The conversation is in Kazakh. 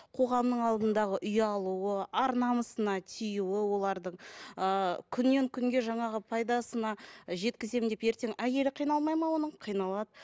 қоғамның алдындағы ұялуы ар намысына тию олардың ыыы күннен күнге жаңағы пайдасына жеткіземін деп ертең әйелі қиналмайды ма оның қиналады